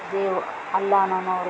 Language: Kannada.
ದೇವರು ಅಲ್ಲ ನಮ್ಮವರು --